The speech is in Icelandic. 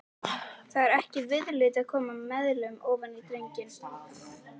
Það er ekki viðlit að koma meðulum ofan í drenginn.